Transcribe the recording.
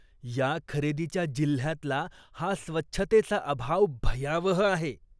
या खरेदीच्या जिल्ह्यातला हा स्वच्छतेचा अभाव भयावह आहे.